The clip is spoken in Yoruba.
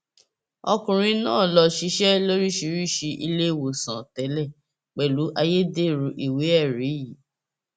ọkùnrin náà lọ ṣiṣẹ lóríṣìíríṣìí iléèwòsàn tẹlẹ pẹlú ayédèrú ìwéẹrí yìí